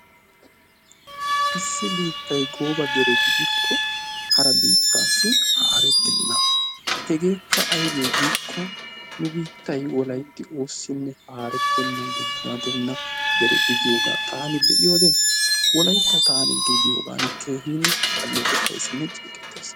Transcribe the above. Issi biittay gooba dere gidikko asa biittassi harettenna. Hegekka aybbe giiko nu biittay Wolaytti oosinne haretena dere gidiyooga taani be'iyoode; wolaytta taani gidiyoogan keehippe aleeqetayssinne ceeqqetays